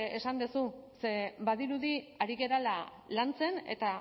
esan duzu ze badirudi ari garela lantzen eta